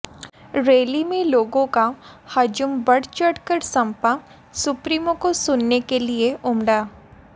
rally में लोगों का हजूम बढ़ चढ़कर समपा सुप्रीमों को सुनने के लिए उमड़ा